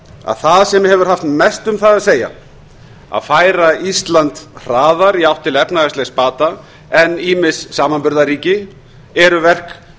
að það sem hefur haft mest um það að segja að færa ísland hraðar í átt til efnahagslegs bata en ýmis samanburðarríki eru verk